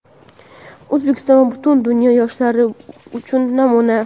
O‘zbekiston va butun dunyo yoshlari uchun namuna.